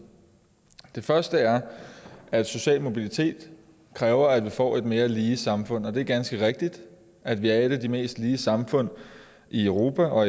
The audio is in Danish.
den første er at social mobilitet kræver at vi får et mere lige samfund det er ganske rigtigt at vi er et af de mest lige samfund i europa og